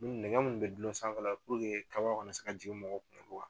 Nɛgɛ min bɛ dulon sanfɛ kaba kana se ka jigin mɔgɔw kunna